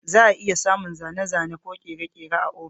Za a iya samun zane-zane ko kere-kere a ofis.